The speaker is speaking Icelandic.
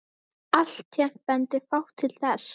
Alltént bendir fátt til þess.